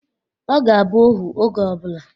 Ọ ga-abụ ohu oge ọbụla.